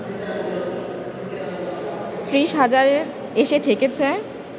৩০ হাজারে এসে ঠেকেছে